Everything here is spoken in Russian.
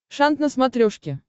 шант на смотрешке